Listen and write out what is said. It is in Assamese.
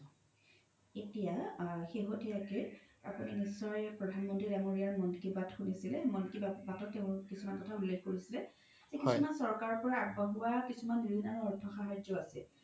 এতিয়া সেহতিয়াকে আপোনি নিশ্চয় প্ৰধান মন্ত্ৰি দাঙৰীয়াৰ মন কি বাত শুনিছে, মন কি বাতত তেও কিছুমান কথা উল্লেখ কৰিছে যে কিছুমান চৰকাৰ পৰা আগবঢ়োৱা কিছুমান ৰিন আৰু অৰ্থসাহাৰ্জ্য আছে